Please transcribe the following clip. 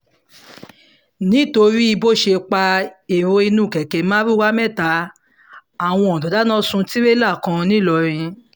nítorí bó ṣe pa èrò inú kẹ̀kẹ́ mardukà mẹ́ta àwọn ọ̀dọ́ dáná sun tìrẹ̀là kan ńìlọrin